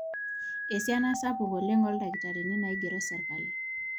esiana sapuk oleng ooldakitarini naigerro sirkali